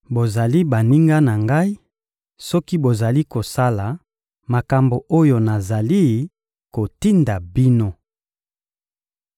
Bozali baninga na Ngai soki bozali kosala makambo oyo nazali kotinda bino.